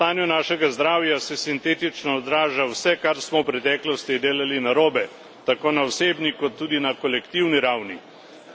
V stanju našega zdravja se sintetično odraža vse, kar smo v preteklosti delali narobe, tako na osebni kot tudi na kolektivni ravni.